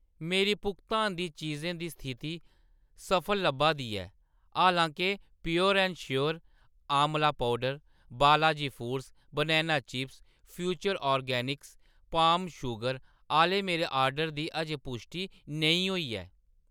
मेरी भुगतान दी चीजें दी स्थिति सफल लब्भा दी ऐ, हालां-के pure and sure amla powder, Balaji foods banana chips ते फ्यूचर ऑर्गेनिक्स पाम शुगर आह्‌‌‌ले मेरे आर्डर दी अजें पुश्टि नेईं होई ऐ